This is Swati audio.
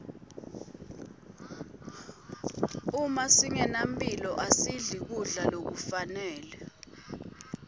uma singenamphilo asidli kudla lokufanele